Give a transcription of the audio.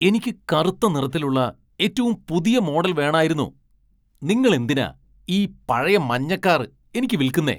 എനിക്ക് കറുത്ത നിറത്തിലുള്ള ഏറ്റവും പുതിയ മോഡൽ വേണായിരുന്നു. നിങ്ങൾ എന്തിനാ ഈ പഴയ മഞ്ഞ കാർ എനിക്ക് വിൽക്കുന്നെ ?